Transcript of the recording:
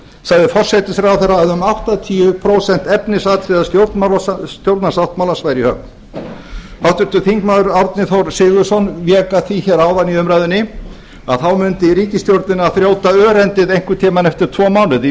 sagði forsætisráðherra að um áttatíu prósent efnisatriða stjórnarsáttmálans væru í höfn háttvirtur þingmaður árni þór sigurðsson vék að því hér áðan í umræðunni að þá mundi ríkisstjórnina þrjóta örendið einhvern tíma eftir tvo mánuði